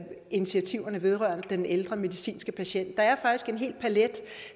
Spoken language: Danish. initiativerne vedrørende den ældre medicinske patient der er faktisk en hel palet